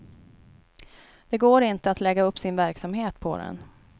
Det går inte att lägga upp sin verksamhet på den.